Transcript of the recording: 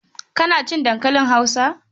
Kana cin dankalin Hausa?